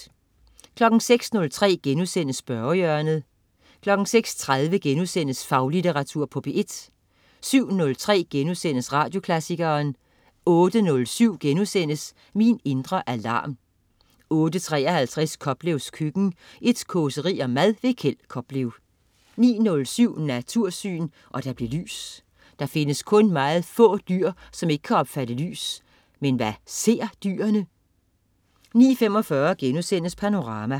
06.03 Spørgehjørnet* 06.30 Faglitteratur på P1* 07.03 Radioklassikeren* 08.07 Min indre alarm* 08.53 Koplevs køkken. Et causeri om mad. Kjeld Koplev 09.07 Natursyn. Og der blev lys. Der findes kun meget få dyr, som ikke kan opfatte lys. Men hvad ser dyrene? 09.45 Panorama*